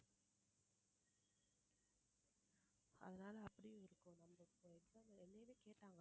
அதனால அப்படியே இருக்கும் கேட்டாங்க